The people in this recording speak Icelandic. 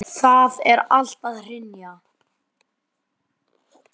Það er allt að hrynja.